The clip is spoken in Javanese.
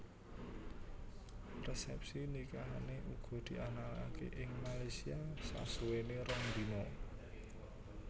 Resepsi nikahane uga dianakake ing Malaysia sasuwene rong dina